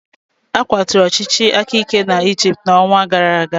A kwaturu ọchịchị aka ike nke Egypt n'ọnwa gara aga.